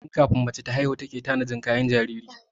Tun kafin mace ta haihu take tanadin kayan jinjiri.